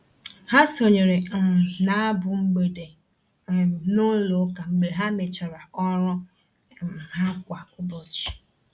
Ha sonyeere um na abụ mgbede um n'ụlọ ụka mgbe ha mechara ọrụ um ha kwa ụbọchị.